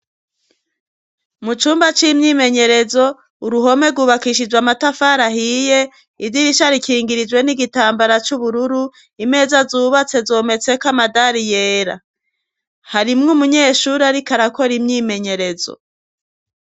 Mu cumba c'imyimenyerezo uruhome rwubakishijwe amatafari ahiye idirisha rikingirijwe n'igitambara c'ubururu, imeza zubatse zometse ko amadari yera. Harimwo umunyeshuri arik arakora imyimenyerezo.